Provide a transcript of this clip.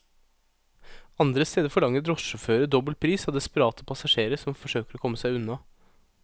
Andre steder forlanger drosjesjåfører dobbel pris av desperate passasjerer som forsøker å komme seg unna.